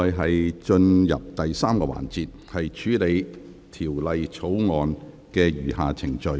現在進入第3個環節，處理《條例草案》的餘下程序。